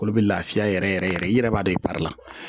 Olu bɛ lafiya yɛrɛ yɛrɛ yɛrɛ i yɛrɛ b'a dɔn i baara la